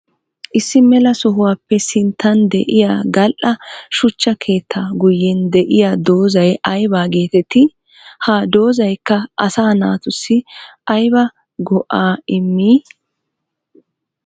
Issi mela sohuwappe sinttan de'iya gali'a suchcha keetta guyen de'iya doozay aybba geetetti? Ha doozaykka asaa naatussi aybba go'a immi?